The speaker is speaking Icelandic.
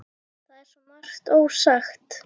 Það er svo margt ósagt.